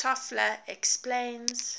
toffler explains